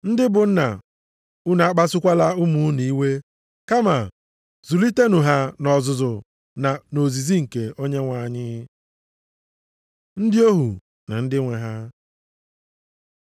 Ndị bụ nna, unu akpasukwala ụmụ unu iwe kama zụlitenụ ha nʼọzụzụ na nʼozizi nke Onyenwe anyị. Ndị ohu na ndị nwe ha